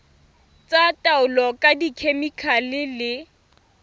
tsa taolo ka dikhemikhale le